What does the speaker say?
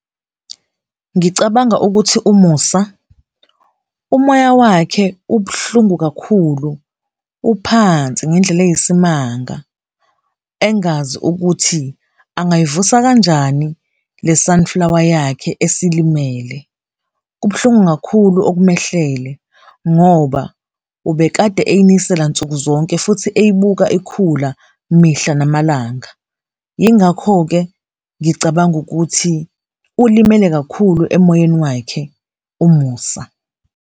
Ngicabanga ukuthi uMusa umoya wakhe ubuhlungu kakhulu, uphansi ngendlela eyisimanga engazi ukuthi angayivusa kanjani le sunflower yakhe esilimele. Kubuhlungu kakhulu okumehlele ngoba ubekade eyinisela nsukuzonke futhi eyibuka ikhula mihla namalanga, yingakho-ke ngicabanga ukuthi ulimele kakhulu emoyeni wakhe uMusa.